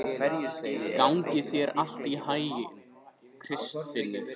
Gangi þér allt í haginn, Kristfinnur.